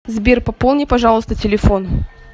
сбер пополни пожалуйста телефон